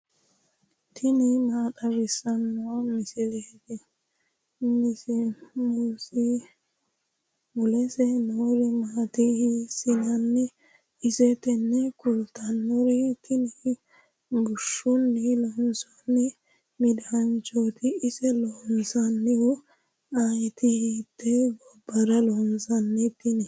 tini maa xawissanno misileeti ? mulese noori maati ? hiissinannite ise ? tini kultannori tini bushshunni loonsoonni midaanchoti ise loosannohu ayeti hite gobbara loonsannite tini